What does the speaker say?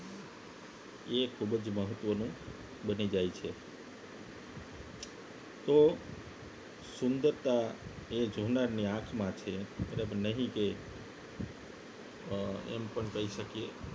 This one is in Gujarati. એ ખૂબ જ મહત્વનું બની જાય છે તો સુંદરતા એ જોનારની આંખમાં છે બરાબરને નહીં કે અ એમ પણ કહી શકીએ